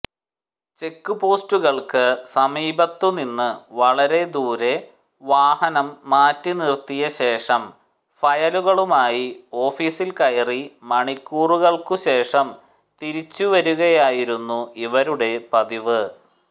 check പോസ്റ്റുകൾക്ക് സമീപത്തുനിന്ന് വളരെ ദൂരെ വാഹനം മാറ്റിനിർത്തിയ ശേഷം ഫയലുകളുമായി ഓഫിസിൽ കയറി മണിക്കൂറുകൾക്കുശേഷം തിരിച്ചുവരുകയായിരുന്നു ഇവരുടെ പതിവ്